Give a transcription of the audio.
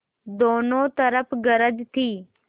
दोनों तरफ गरज थी